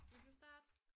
Vil du starte?